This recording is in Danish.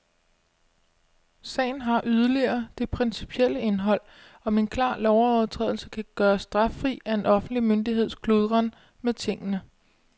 Sagen har yderligere det principielle indhold, om en klar lovovertrædelse kan gøres straffri af en offentlig myndigheds kludren med tingene.